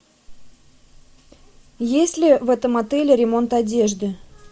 есть ли в этом отеле ремонт одежды